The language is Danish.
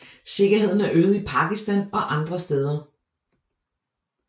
Sikkerheden er øget i Pakistan og andre steder